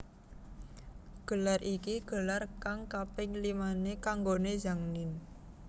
Gelar iki gelar kang kaping limané kanggoné Zhang Ninh